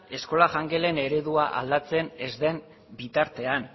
eskola jangelen eredua aldatzen ez den bitartean